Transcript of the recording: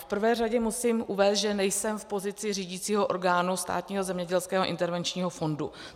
V prvé řadě musím říct, že nejsem v pozici řídícího orgánu Státního zemědělského intervenčního fondu.